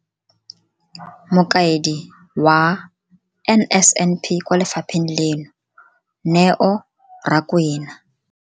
Mokaedi wa NSNP kwa lefapheng leno, Neo Rakwena.